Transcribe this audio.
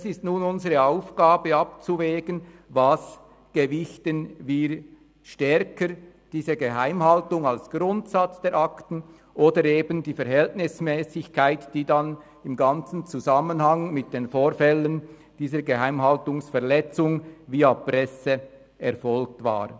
Es ist nun unsere Aufgabe abzuwägen, was wir stärker gewichten, diese Geheimhaltung als Grundsatz der Akten oder eben die Verhältnismässigkeit, die dann im ganzen Zusammenhang mit den Vorfällen dieser Geheimhaltungsverletzung via Presse erfolgt war.